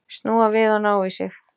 Snúa við og ná í sig.